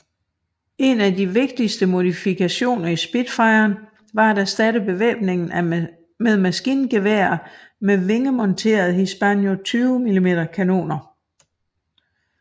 En af de vigtigste modifikationer i Spitfiren var at erstatte bevæbningen med maskingeværer med vingemonterede Hispano 20 mm kanoner